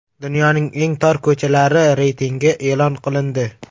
Dunyoning eng tor ko‘chalari reytingi e’lon qilindi .